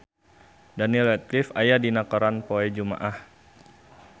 Daniel Radcliffe aya dina koran poe Jumaah